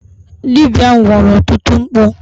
Dibia ahụ kwara ọtụtụ mkpu.